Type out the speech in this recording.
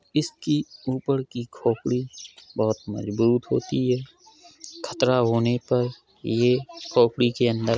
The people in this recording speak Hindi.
इसकी ऊपर की खोपड़ी बहुत मजबूत होती है खतरा होने पर ये खोपड़ी के अंदर --